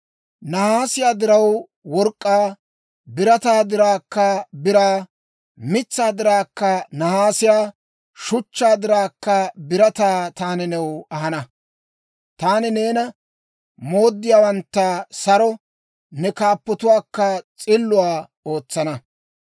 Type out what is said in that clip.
Nahaasiyaa diraw work'k'aa, birataa diraakka biraa, mitsaa diraw nahaasiyaa, shuchchaa diraw birataa taani new ahana. Taani neena mooddiyaawantta saro, ne kaappotuwaakka s'illuwaa ootsana.